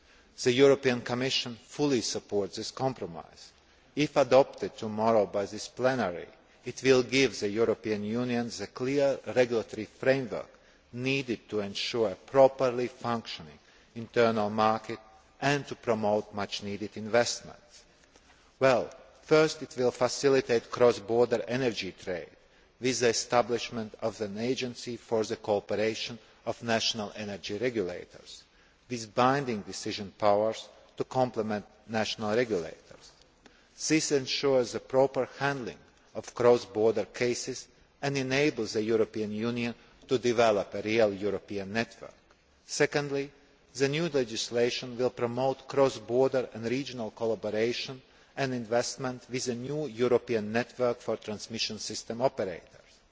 The Commission fully supports this compromise. If adopted tomorrow by plenary, it will give the European Union the clear regulatory framework needed to ensure a properly functioning internal market and to promote much needed investment. First, it will facilitate cross border energy trade with the establishment of an agency for the cooperation of national energy regulators, with binding decision powers, to complement national regulators. This ensures the proper handling of cross border cases and enables the European Union to develop a real European network. Secondly, the new legislation will promote cross border and regional collaboration and investment with a new European network for transmission system operators.